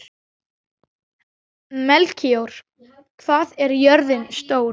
Melkíor, hvað er jörðin stór?